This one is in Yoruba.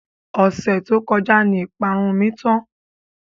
Ọ̀sẹ̀ tó kọjá ni ìparun mi tán.